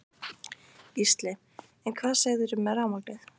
Gísli: En hvað segirðu með rafmagnið?